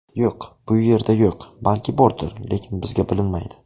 Yo‘q, bu yerda yo‘q, balki bordir, lekin bizga bilinmaydi.